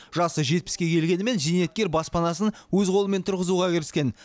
жасы жетпіске келгенімен зейнеткер баспанасын өз қолымен тұрғызуға кіріскен